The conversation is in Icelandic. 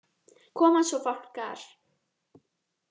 Koma svo Fálkar!